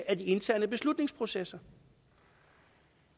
af de interne beslutningsprocesser